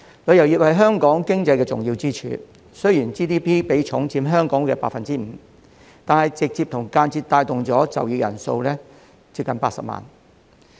旅遊業是香港經濟的重要支柱，雖然 GDP 比重佔香港的 5%， 但旅遊業直接及間接帶動的就業人數接近80萬人。